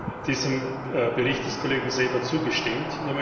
Ich habe diesem Bericht des Kollegen Seeber zugestimmt.